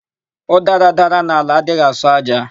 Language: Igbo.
Ụdara dara n'ala, adịghị asọ ájá.